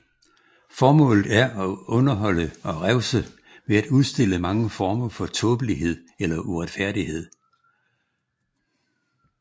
Formålet er at underholde og revse ved at udstille mange former for tåbelighed eller uretfærdighed